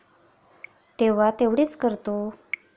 तेव्हा तेवढेच करतो.